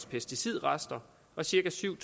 pesticidrester og cirka syv